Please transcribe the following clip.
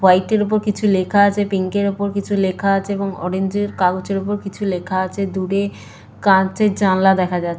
হোয়াইটের ওপর কিছু লেখা আছে পিঙ্ক এর ওপর কিছু লেখা আছে এবং অরেঞ্জ এর কাগজের ওপর কিছু লেখা আছে দূরে কাঁচের জানলা দেখা যাচ--